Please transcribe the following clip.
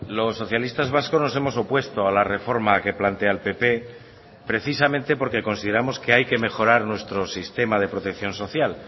los socialistas vascos nos hemos opuesto a la reforma que plantea el pp precisamente porque consideramos que hay que mejorar nuestro sistema de protección social